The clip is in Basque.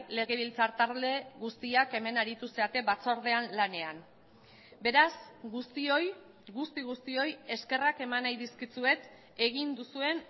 legebiltzar talde guztiak hemen aritu zarete batzordean lanean beraz guztioi guzti guztioi eskerrak eman nahi dizkizuet egin duzuen